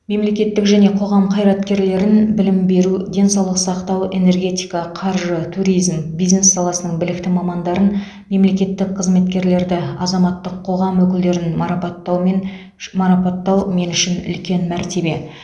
мемлекеттік және қоғам қайраткерлерін білім беру денсаулық сақтау энергетика қаржы туризм бизнес саласының білікті мамандарын мемлекеттік қызметкерлерді азаматтық қоғам өкілдерін марапаттаумен марапаттау мен үшін үлкен мәртебе